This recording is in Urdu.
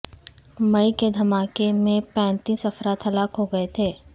مئی کے دھماکے میں پینتیس افراد ہلاک ہوگئے تھے